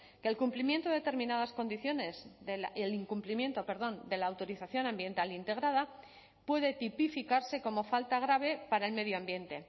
que el incumplimiento de determinadas condiciones de la autorización ambiental integrada puede tipificarse como falta grave para el medio ambiente